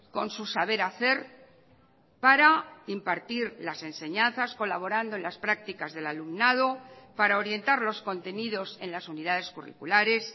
con su saber hacer para impartir las enseñanzas colaborando en las prácticas del alumnado para orientar los contenidos en las unidades curriculares